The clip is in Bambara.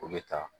O bɛ taa